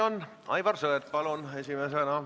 Milline täpselt see vaidlus oli, mida te endaga pidasite?